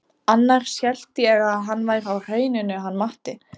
Annars hélt ég að hann væri á Hrauninu hann Matti.